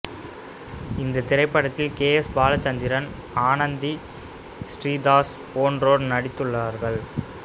இந்த திரைப்படத்தில் K S Balachandran Anandhi Sridas போன்றோர் நடித்துள்ளார்கள்